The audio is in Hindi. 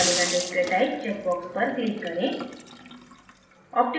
polygon display type checkbox पर click करें